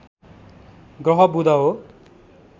ग्रह बुध हो